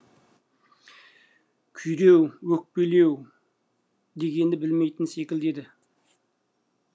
күйреу өкпелеу дегенді білмейтін секілді еді